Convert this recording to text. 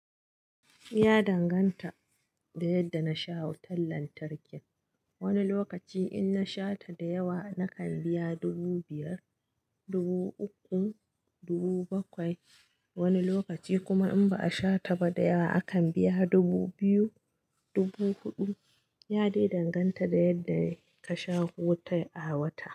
Ya danganta da yadda na sha hoton lantarkin. Wani lokaci in na sha ta da yawa nakan biya dubu biyar, dubu uku, dubu bakwai. Wani lokaci kuma in ba a sha ta ba da yawa, akan biya dubu biyu, dubu huɗu. Ya dai danganta da yadda ka sha wutar a wata.